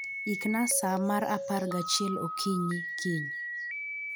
Ikna sa mar apar gachiel okinyi kiny